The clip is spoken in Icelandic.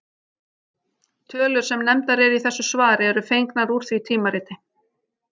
Tölur sem nefndar eru í þessu svari eru fengnar úr því tímariti.